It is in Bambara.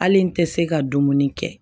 Hali n tɛ se ka dumuni kɛ